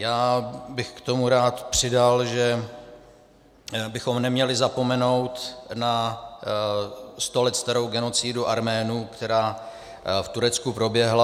Já bych k tomu rád přidal, že bychom neměli zapomenout na sto let starou genocidu Arménů, která v Turecku proběhla.